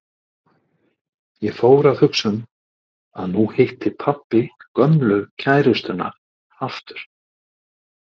Svo fór ég að hugsa um að nú hitti pabbi gömlu kærustuna aftur.